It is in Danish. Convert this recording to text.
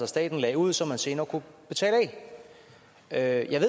staten lagde ud så man senere kunne betale af jeg